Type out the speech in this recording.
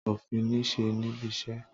Òfin niṣe nibise.